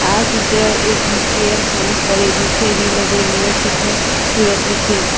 આ ચિત્ર એક બી_કે_એમ સાયન્સ કોલેજ નું છે વીર નર્મદ યુનિવર્સિટી સુરતનું છે.